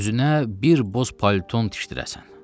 Özünə bir boz palton tikdirəsən.